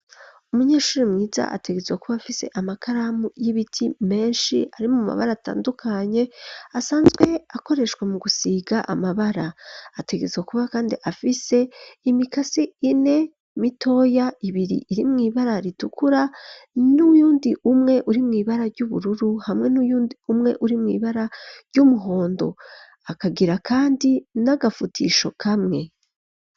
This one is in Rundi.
Umunyeshure mwiza ategerezwa kuba afise amakaramu y'ibiti menshi, arimwo amabara atandukanye, asanzwe akoreshwa mu gusiga amabara. Ategerezwa kuba kandi afise imikasi ine mitoya, ibiri irimwo ibara ritukura n'uyundi umwe urimwo ibara ry'ubururu, hamwe n'uyundi umwe urimwo ibara ry'umuhondo. Akagira kandi n'agafutisho kamwe.